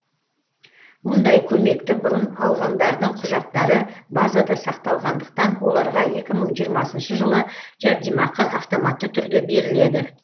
мұндай көмекті бұрын алғандардың құжаттары базада сақталғандықтан оларға екі мың жиырмасыншы жылы жәрдемақы автоматты түрде беріледі